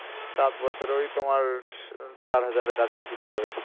সাত বছরে ওই তোমার চার হাজারের কাছা কাছি পরবে